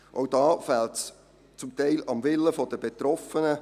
Auch hier fehlt es teilweise am Willen der Betroffenen.